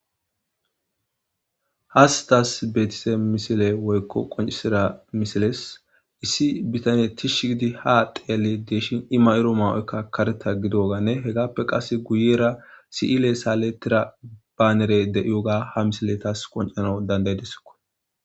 Hayisi tasi betida woyikko qonicisida misilezi issi bitanezi ha tishi ha xeelidi deishin izi mayida mayoyikka kareththa giddogane hegappe qase guyera sileyi sileto banera ha misileyi ha misileyi tasi qonicisanawu danidaidesikko